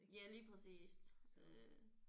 Ja lige præcist øh